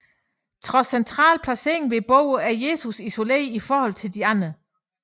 Trods central placering ved bordet er Jesus isoleret i forhold til de øvrige